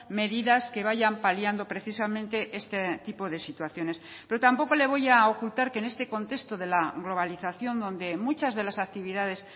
medidas que vayan paliando precisamente este tipo de situaciones pero tampoco le voy a ocultar que en este contexto de la globalización donde muchas de las actividades